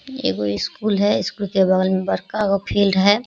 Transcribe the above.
एगो इस स्कूल है। इस स्कूल के में बड़कागो फील्ड है।